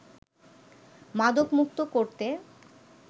মাদকমুক্ত করতে